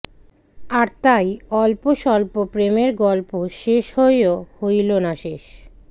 আর তাই অল্প স্বল্প প্রেমের গল্প শেষ হয়েও হইল না শেষ